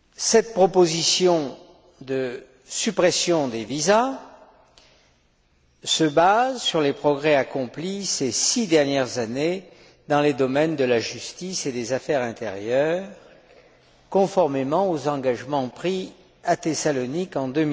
Cette proposition de suppression des visas se base sur les progrès accomplis ces six dernières années dans les domaines de la justice et des affaires intérieures, conformément aux engagements pris à Thessalonique en